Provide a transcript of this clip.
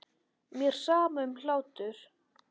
Mér er sama um hlátur.